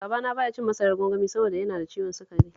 Babana ba ya cin masarar gwangwani saboda yana da ciwon sukari